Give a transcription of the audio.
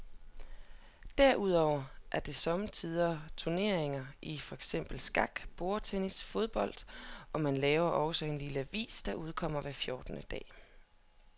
Derudover er der sommetider turneringer i for eksempel skak, bordtennis og fodbold, og man laver også en lille avis, der udkommer hver fjortende dag.